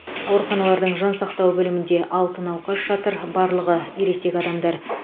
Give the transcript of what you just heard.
ауруханалардың жансақтау бөлімінде алты науқас жатыр барлығы ересек адамдар